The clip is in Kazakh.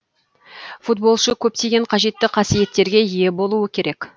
футболшы көптеген қажетті қасиеттерге ие болуы керек